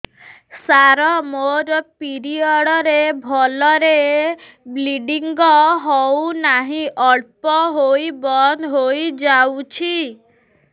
ସାର ମୋର ପିରିଅଡ଼ ରେ ଭଲରେ ବ୍ଲିଡ଼ିଙ୍ଗ ହଉନାହିଁ ଅଳ୍ପ ହୋଇ ବନ୍ଦ ହୋଇଯାଉଛି